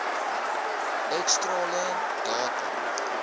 x strale datum